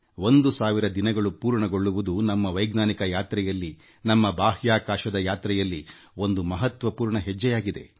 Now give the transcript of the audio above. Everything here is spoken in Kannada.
ಒಂದು ಸಾವಿರ ದಿನಗಳು ಪೂರ್ಣಗೊಂಡಿರುವುದು ನಮ್ಮ ವೈಜ್ಞಾನಿಕ ಯಾತ್ರೆಯಲ್ಲಿ ಹಾಗೂಬಾಹ್ಯಾಕಾಶದ ಯಾನದಲ್ಲಿ ಒಂದು ಮಹತ್ವ ಮೈಲಿಗಲ್ಲಾಗಿದೆ